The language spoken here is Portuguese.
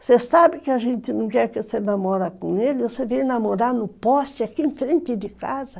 Você sabe que a gente não quer que você namora com ele, você veio namorar no poste, aqui em frente de casa.